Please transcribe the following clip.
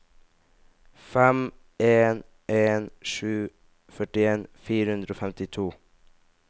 fem en en sju førtien fire hundre og femtito